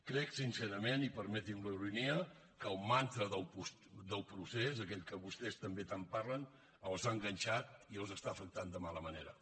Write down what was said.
crec sincerament i permeti’m la ironia que el mantra del procés aquell que vostès també tant parlen els ha enganxat i els està afectant de mala manera